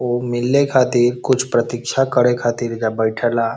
ऊ मिल्ले खाति कुछ प्रतीक्षा करे खातिर एकरा बैठेला।